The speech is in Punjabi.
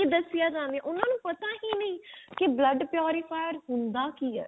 ਨਾਂ ਹੀ ਦਸਿਆ ਜਾਵੇ ਉਹਨਾਂ ਨੂੰ ਪਤਾ ਹੀ ਨਹੀਂ ਕੀ blood purifier ਹੁੰਦਾ ਕੀ ਏ